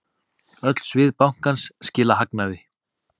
Öll svið bankans skila hagnaði.